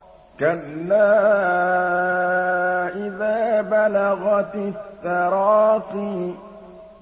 كَلَّا إِذَا بَلَغَتِ التَّرَاقِيَ